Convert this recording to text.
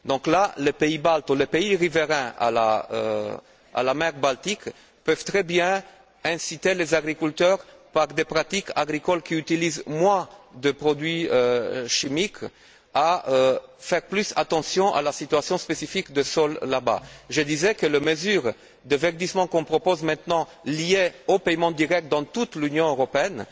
En l'espèce, les pays baltes ou les pays riverains de la mer Baltique peuvent très bien inciter les agriculteurs, par des pratiques agricoles qui utilisent moins de produits chimiques, à faire plus attention à la situation spécifique des sols là bas. Je disais que les mesures de verdissement, qu'on propose maintenant liées aux paiements directs dans toute l'Union européenne,